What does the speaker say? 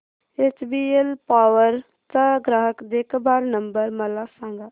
HBL power चा ग्राहक देखभाल नंबर मला सांगा